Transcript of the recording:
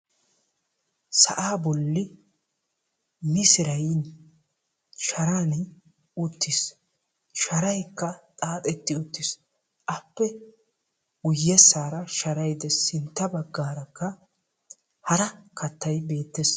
Sa'aa bolli misiray sa'aani uttiis. Sharaykka xaaxetti uttiis. Appe guyyessaara sharay dees. Sintta baggaarakka hara kattay beettees.